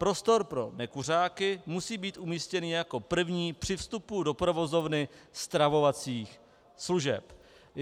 Prostor pro nekuřáky musí být umístěný jako první při vstupu do provozovny stravovacích služeb.